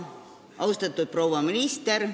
Austatud proua minister!